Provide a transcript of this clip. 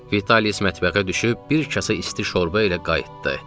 Vitalis mətbəxə düşüb bir kasa isti şorba ilə qayıtdı.